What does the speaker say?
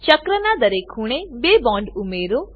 ચક્રનાં દરેક ખૂણે બે બોન્ડ ઉમેરો